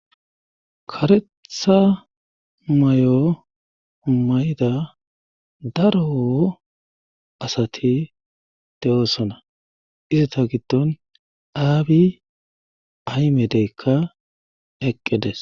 karetha may7o mayida daro asati de7oosona izita giddon abi aymedeykka eqqedes